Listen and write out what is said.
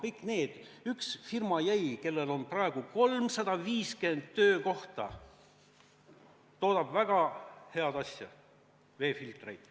Ainult üks firma jäi alles, kellel on praegu 350 töökohta, toodab väga head asja, veefiltreid.